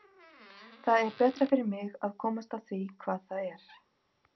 Það er betra fyrir mig að komast að því hvað er að.